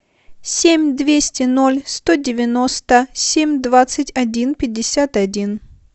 семь двести ноль сто девяносто семь двадцать один пятьдесят один